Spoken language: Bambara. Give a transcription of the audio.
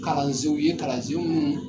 Kalansenw ye kalansenw munnu